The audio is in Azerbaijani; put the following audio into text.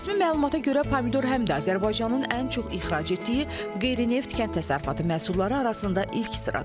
Rəsmi məlumata görə pomidor həm də Azərbaycanın ən çox ixrac etdiyi qeyri-neft kənd təsərrüfatı məhsulları arasında ilk sıradadır.